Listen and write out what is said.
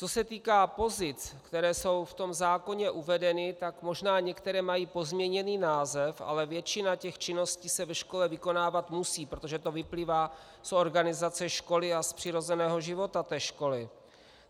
Co se týká pozic, které jsou v tom zákoně uvedeny, tak možná některé mají pozměněný název, ale většina těch činností se ve škole vykonávat musí, protože to vyplývá z organizace školy a z přirozeného života té školy.